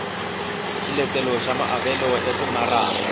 xiletelo xa maavelo ya timaraka